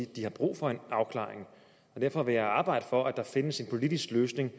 de har brug for en afklaring derfor vil jeg arbejde for at der findes en politisk løsning